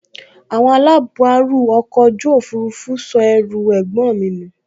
Àwọn alábàárù ọkọ̀ ojú òfurufú sọ ẹrù ẹ̀gbọ́n mi nù